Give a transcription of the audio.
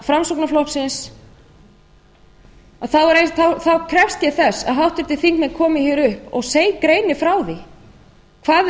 framsóknarflokksins þá krefst ég þess að háttvirtir þingmenn komi hér upp og greini frá því hvað þeir